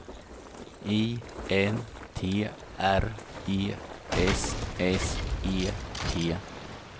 I N T R E S S E T